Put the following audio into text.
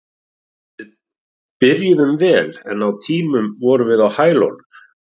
Við byrjuðum vel en á tímum vorum við á hælunum.